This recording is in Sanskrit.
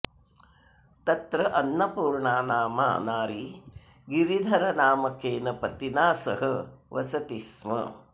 तत्र अन्नपूर्णा नामा नारी गिरिधरनामकेन पतिना सह वसति स्म